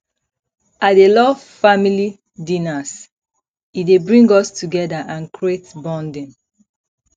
i dey love family dinners e dey bring us together and create bonding